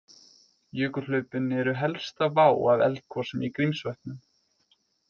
Jökulhlaupin eru helsta vá af eldgosum í Grímsvötnum.